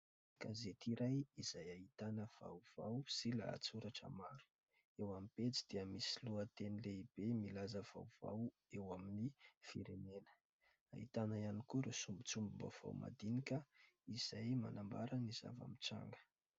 Gazety iray izay ahitana vaovao sy lahatsoratra maro eo amin'ny pejy dia misy lohateny lehibe milaza vaovao eo amin'ny firenena. Ahitana ihany koa ireo sombintsombim-baovao madinika izay manambara ny zava-nitranga.